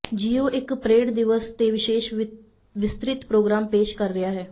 ਜੀ ਓ ਇਕ ਪਰੇਡ ਦਿਵਸ ਤੇ ਵਿਸ਼ੇਸ਼ ਵਿਸਤ੍ਰਿਤ ਪ੍ਰੋਗਰਾਮ ਪੇਸ਼ ਕਰ ਰਿਹਾ ਹੈ